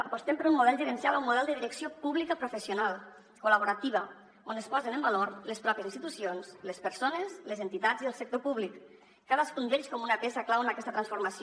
apostem d’un model gerencial a un model de direcció pública professional col·laborativa on es posen en valor les pròpies institucions les persones les entitats i el sector públic cadascun d’ells com una peça clau en aquesta transformació